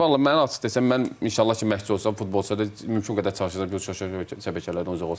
Yəni vallah mənə açıq desən, mən inşallah ki, məşqçi olsam, futbolçulara mümkün qədər çalışacam ki, o sosial şəbəkələrdən uzaq olsun.